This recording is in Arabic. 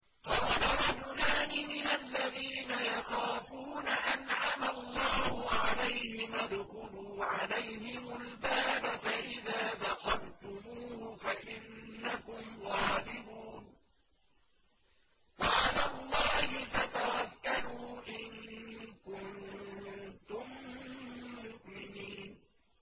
قَالَ رَجُلَانِ مِنَ الَّذِينَ يَخَافُونَ أَنْعَمَ اللَّهُ عَلَيْهِمَا ادْخُلُوا عَلَيْهِمُ الْبَابَ فَإِذَا دَخَلْتُمُوهُ فَإِنَّكُمْ غَالِبُونَ ۚ وَعَلَى اللَّهِ فَتَوَكَّلُوا إِن كُنتُم مُّؤْمِنِينَ